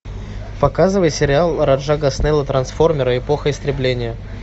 показывай сериал раджа госнеллы трансформеры эпоха истребления